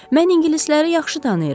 Mən ingilisləri yaxşı tanıyıram.